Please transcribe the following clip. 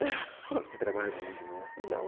ocê trabalha domingo de manhã?ão.